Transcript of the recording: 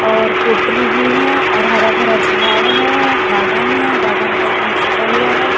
और पोटरी भी है और हरा-भरा झाड़ है गार्डन है गार्डन टाइप में सजा हुआ है।